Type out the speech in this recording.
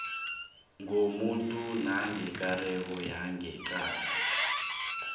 komuntu nekareko yangeqadi